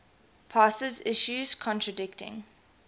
passes issues contradicting